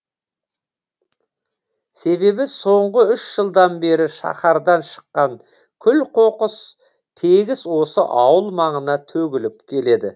себебі соңғы үш жылдан бері шаһардан шыққан күл қоқыс тегіс осы ауыл маңына төгіліп келеді